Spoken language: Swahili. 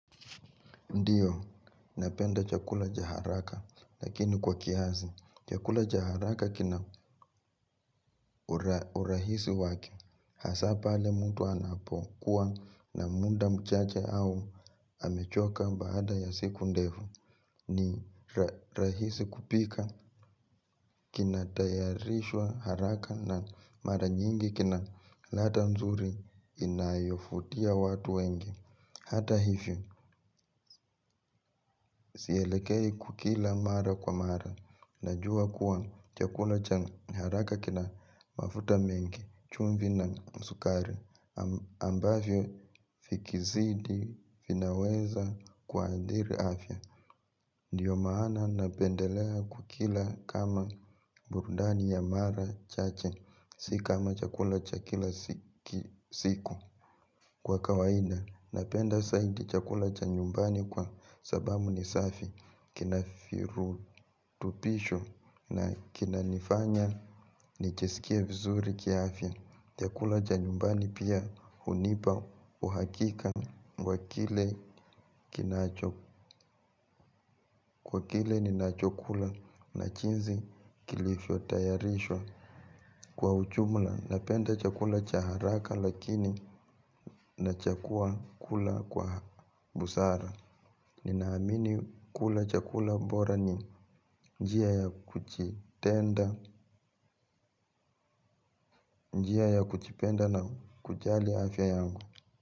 Ndiyo, napenda chakula cha haraka, lakini kwa kiasi. Chakula cha haraka kina urahisi wake, hasa pale mtu anapokuwa na muda mchache au amechoka baada ya siku ndefu, ni rahisi kupika kinatayarishwa haraka na mara nyingi kina lata nzuri inayofutia watu wengi. Hata hivyo, sielekei kukila mara kwa mara, najua kuwa chakula cha haraka kina mafuta mengi, chumvi na sukari, ambavyo fikizidi vinaweza kuathiri afya. Ndiyo maana napendelea kukila kama burudani ya mara chache, si kama chakula cha kila siku. Kwa kawaida, napenda saidi chakula cha nyumbani kwa sababu ni safi, kina firutubisho na kinanifanya nijiskie vizuri kiafya. Chakula cha nyumbani pia hunipa uhakika wa kile kinacho, kwa kile ninachokula na jinsi kilifyotayarishwa. Kwa uchumla, napenda chakula cha haraka lakini nachakua kula kwa busara. Ninaamini kula chakula bora ni njia ya kujitenda njia ya kujipenda na kujali afya yangu.